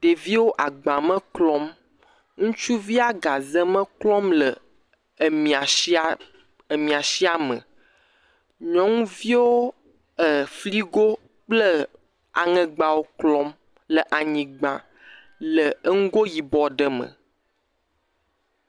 Ɖeviwo agbame klɔm. Ŋutsuvia gazeme klɔm le emia sia emesia me. Nyɔnuviwo e filigowo kple aŋegbawo klɔm le anyigba le eŋugo yibɔ aɖe me.